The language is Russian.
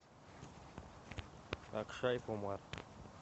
акшай кумар